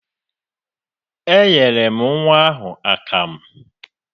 Eé, enyere m nnwa ahụ akamụ.